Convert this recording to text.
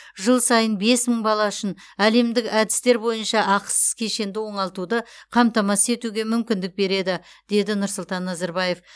жыл сайын бес мың бала үшін әлемдік әдістер бойынша ақысыз кешенді оңалтуды қамтамасыз етуге мүмкіндік береді деді нұрсұлтан назарбаев